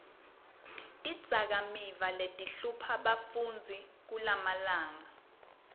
tidzakamiva letihlupha bafundzi kulamalanga